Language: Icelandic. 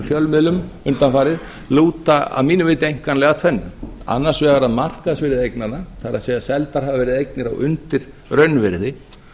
fjölmiðlum undanfarið lúta að mínu viti einkanlega að þrennu annars vegar að markaðsvirði eignanna það er seldar hafa verið eignir undir raunvirði